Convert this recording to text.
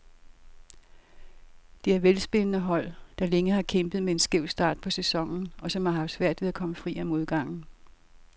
Det er velspillende hold, der længe har kæmpet med en skæv start på sæsonen, og som har haft svært ved at komme fri af modgangen.